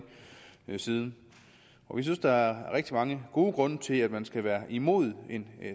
siden vi synes der er rigtig mange gode grunde til at man skal være imod en